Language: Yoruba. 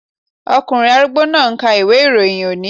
Ọkùnrin arúgbó náà ń ka ìwé-ìròyìn òní